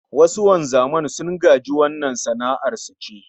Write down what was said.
Wasu wanzaman sun gaji wannan sana'ar su ce